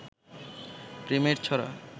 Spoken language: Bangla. প্রেমের ছড়া